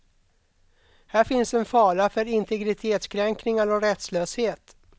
Här finns en fara för integritetskränkningar och rättslöshet.